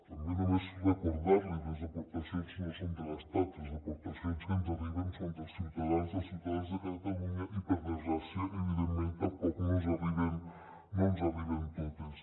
també només recordar l’hi les aportacions no són de l’estat les aportacions que ens arriben són dels ciutadans dels ciutadans de catalunya i per desgràcia evidentment tampoc no ens arriben totes